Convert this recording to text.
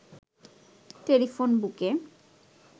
telephone বুকে